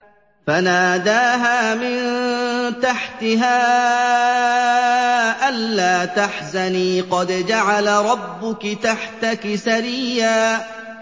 فَنَادَاهَا مِن تَحْتِهَا أَلَّا تَحْزَنِي قَدْ جَعَلَ رَبُّكِ تَحْتَكِ سَرِيًّا